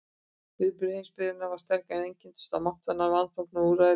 Viðbrögð heimsbyggðarinnar voru sterk, en einkenndust af máttvana vanþóknun og úrræðaleysi.